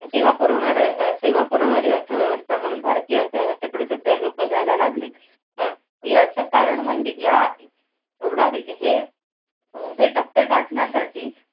सेवा पुरवणार अह सेवा पुरवणारी अर्थव्यवस्था म्हणून भारतीय अर्थव्यवस्थेकडे सध्या लोक बघायला लागलेत. याच कारण म्हणजे या एवढा हे अह हे टप्पे गाठण्यासाठी